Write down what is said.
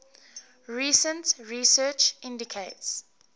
recent research indicates